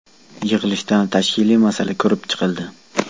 Yig‘ilishda tashkiliy masala ko‘rib chiqildi.